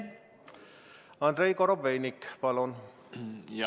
Andrei Korobeinik, palun!